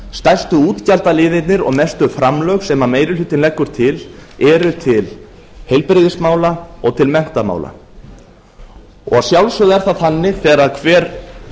stærstu útgjaldaliðirnir og mestu framlög sem meiri hlutinn leggur til eru til heilbrigðismála og til menntamála að sjálfsögðu er það þannig þegar hver